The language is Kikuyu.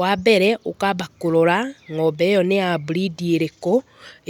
Wa mbere, ũkaamba kũrora ng'ombe ĩyo nĩ ya burindi ĩrĩkũ,